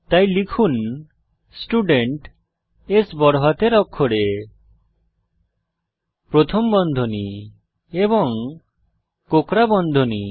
তাই লিখুন studentস্ বড়হাতের অক্ষরে প্রথম বন্ধনী এবং কোঁকড়া বন্ধনী